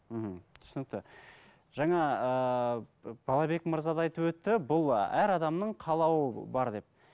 мхм түсінікті жаңа ыыы балабек мырза да айтып өтті бұл әр адамның қалауы бар деп